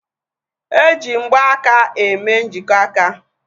Eji mgbaaka eme njikọ aka